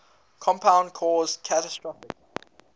compound caused catastrophic